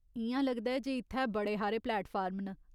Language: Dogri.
इ'यां लगदा ऐ जे इत्थै बड़े हारे प्लेटफार्म न।